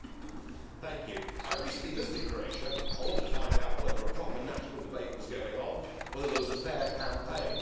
Madam President, I recently visited Croatia I wanted to find out whether a proper national debate was going on, whether there was a fair campaign.